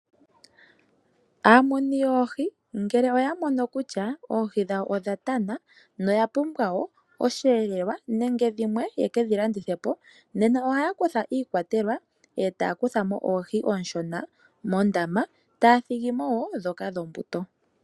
Aamuni yoohi ngele ya mono kutya oohi dhawo odha tana noya pumbwa wo oshiyelelwa nenge dhimwe ye ke dhilandithepo. Nena ohaya kutha iikwatelwa e taya kutha iikwatelwa e taya kuthamo oohi ooshona mondama taya thigimo wo dhoka dhombuto.